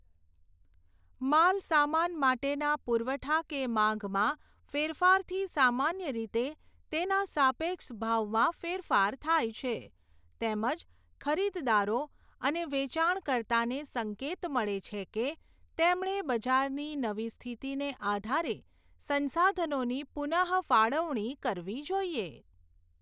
માલસામાન માટેના પુરવઠા કે માગમાં ફેરફારથી સામાન્ય રીતે તેના સાપેક્ષ ભાવમાં ફેરફાર થાય છે, તેમજ ખરીદદારો અને વેચાણકર્તાને સંકેત મળે છે કે તેમણે બજારની નવી સ્થિતિને આધારે સંસાધનોની પુનઃફાળવણી કરવી જોઈએ.